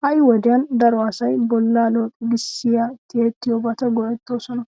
Ha"i wodiyan daro asay bollaa looxigissiya tiyettiyobata go"ettoosona.